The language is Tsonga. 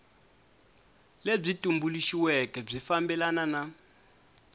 lebyi tumbuluxiweke byi fambelana na